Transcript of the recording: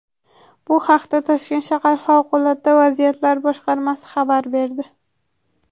Bu haqda Toshkent shahar Favqulodda vaziyatlar boshqarmasi xabar berdi .